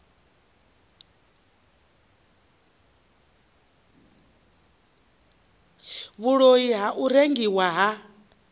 vhuloi ha u rengwa ha